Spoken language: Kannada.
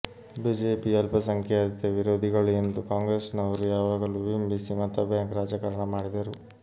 ಬಿಜೆಪಿ ಅಲ್ಪಸಂಖ್ಯಾತ ವಿರೋಧಿಗಳು ಎಂದು ಕಾಂಗ್ರೆಸ್ನವರು ಯಾವಾಗಲೂ ಬಿಂಬಿಸಿ ಮತಬ್ಯಾಂಕ್ ರಾಜಕಾರಣ ಮಾಡಿದರು